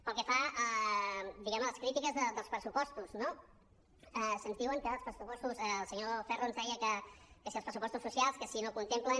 pel que fa a diguem ne les crítiques dels pressupostos no se’ns diu el senyor ferro ens deia que si els pressupostos socials que si no contemplen